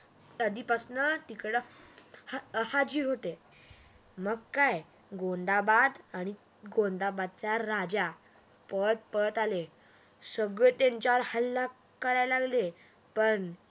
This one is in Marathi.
आधीपासनं तिक डं हाजीर होते मग काय गोंधाबद आणि गोंधाबदचा राजा पळत पळत आले सगळे त्यांच्यावर हल्ला करायला लागले पण